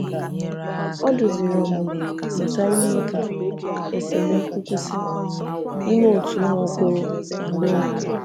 Ọ duzìrì ọmụmụ gbasàrà ime ka esemokwu kwụsị n’ime òtù umu okoro na agbogho.